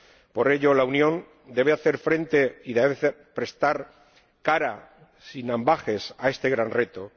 Por ello, la Unión debe hacer frente y debe plantar cara, sin ambages, a este gran reto.